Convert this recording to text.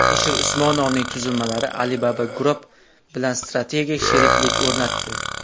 Alisher Usmonovning tuzilmalari Alibaba Group bilan strategik sheriklik o‘rnatdi.